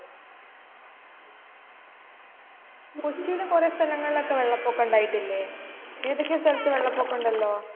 കോച്ചിലും കുറെ സ്ഥലങ്ങളിലൊക്കെ വെള്ള പൊക്കം ഉണ്ടായിട്ടില്ലേ. ഏതൊക്കെയോ സ്ഥലത്തു വെള്ള പൊക്കം ഉണ്ടല്ലോ.